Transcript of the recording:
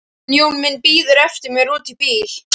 Hann Jón minn bíður eftir mér úti í bíl